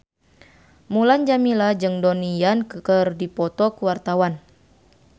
Mulan Jameela jeung Donnie Yan keur dipoto ku wartawan